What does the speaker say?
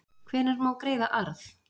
hvenær má greiða arð